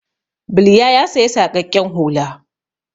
Bilya ya saya saƙaƙƙen hula.